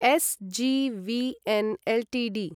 SJVN Ltd